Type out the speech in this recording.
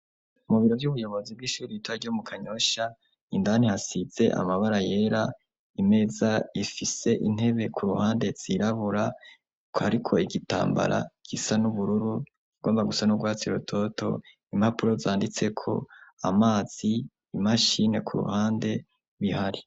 Mu biro vy'ubuyobozi bw'ishuri ibita ryo mu kanyosha indani hasize amabara yera imeza ifise intebe ku ruhande zirabura ko, ariko igitambara gisa n'ubururu ugomba gusa n'ugwatsira urutoto impapuro zanditseko amazi imashine ku ruhande bihari.